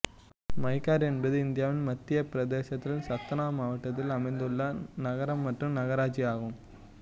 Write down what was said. மைகார் என்பது இந்தியாவின் மத்திய பிரதேசத்தில் சத்னா மாவட்டத்தில் அமைந்துள்ள நகரம் மற்றும் நகராட்சியாகும்